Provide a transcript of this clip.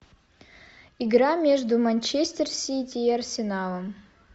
игра между манчестер сити и арсеналом